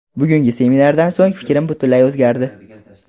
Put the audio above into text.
Bugungi seminardan so‘ng fikrim butunlay o‘zgardi.